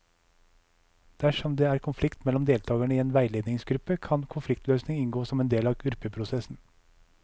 Dersom det er konflikt mellom deltakere i en veiledningsgruppe, kan konfliktløsning inngå som en del av gruppeprosessen.